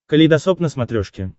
калейдосоп на смотрешке